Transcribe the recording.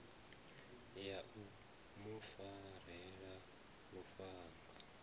ya u mu farela lufhanga